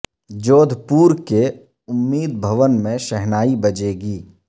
جودھ پور کے امید بھوون میں شہنائی بجے گی